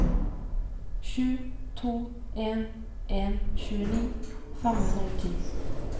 sju to en en tjueni fem hundre og ti